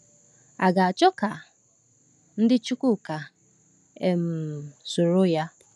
A ga-achọ ka ndị Chukwuka um soro ya?